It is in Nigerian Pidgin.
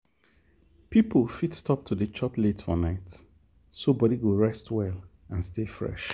people fit stop to dey chop late for night so body go rest well and stay fresh.